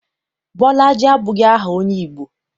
Bolaji abụghị aha onye Igbo.